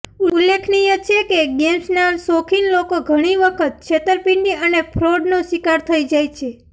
ઉલ્લેખનીય છે કે ગેમ્સના શોખીન લોકો ઘણી વખત છેતરપિંડી અને ફ્રોડનો શિકાર થઈ જાય છે